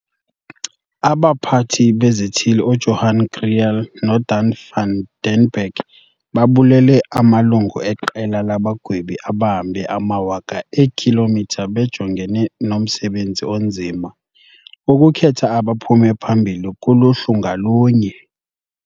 AbaPhathi beziThili uJohan Kriel noDanie van den Berg babulele amalungu eQela labaGwebi abahambe amawaka eekhilomitha bejongene nomsebenzi onzima wokukhetha abaphume phambili kuluhlu ngalunye.